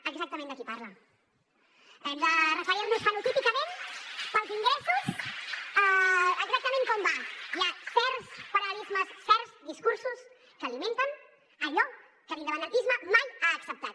exactament de qui parla hem de referir nos fenotípicament pels ingressos exactament com va hi ha certs paral·lelismes certs discursos que alimenten allò que l’independentisme mai ha acceptat